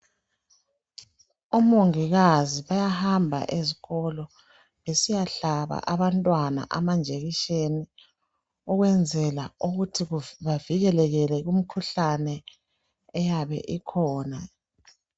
Omongikazi bayahamba ezikolo. Besiyahlaba abantwana amanjekisheni, ukwenzela ukuthi, bavikeleke, kumikhuhlane, eyabe ikhona.